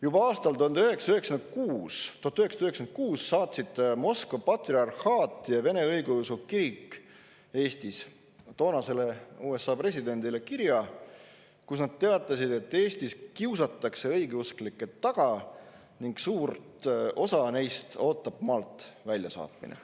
Juba aastal 1996 saatsid Moskva patriarhaat ja Vene Õigeusu Kirik Eestis toonasele USA presidendile kirja, kus nad teatasid, et Eestis kiusatakse õigeusklikke taga ning suurt osa neist ootab maalt väljasaatmine.